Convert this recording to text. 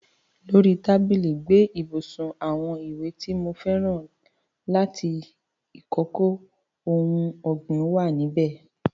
Ló rí tábìlì ẹ́gbẹ ibùsùn, àwon ìwé ti mo fẹ́ràn àti ìkòkò oun ọ́gbìn wa níbẹ̀